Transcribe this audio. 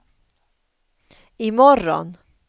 imorgon